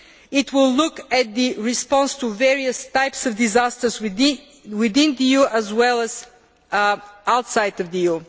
It will look at the response to various types of disasters within the EU as well as outside the